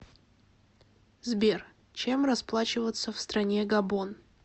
сбер чем расплачиваться в стране габон